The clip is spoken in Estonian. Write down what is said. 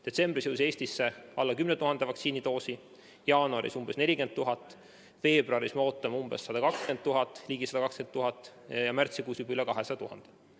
Detsembris jõudis Eestisse alla 10 000 vaktsiinidoosi, jaanuaris umbes 40 000 doosi, veebruaris me ootame ligi 120 000 ja märtsikuus juba üle 200 000 doosi.